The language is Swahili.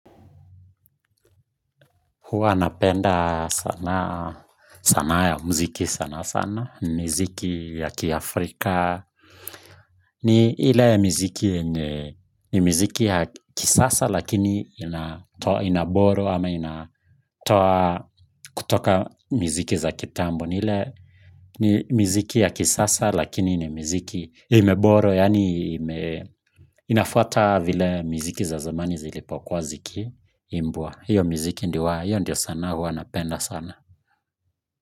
Huwa napenda sanaa ya muziki sana sana. Ni miziki ya kiafrika. Ni ile miziki ya kisasa lakini ina borrow ama inatoa kutoka miziki za kitambo. Ni ile miziki ya kisasa lakini ni miziki ime borrow. Yani inafuata vile mziki za zamani zilipokua zikimbwa. Hiyo muziki hiyo ndio sanaa huwa napenda sana.